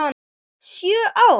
Sjö ár?